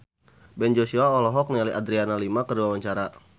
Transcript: Ben Joshua olohok ningali Adriana Lima keur diwawancara